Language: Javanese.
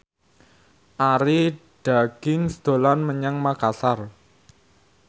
Arie Daginks dolan menyang Makasar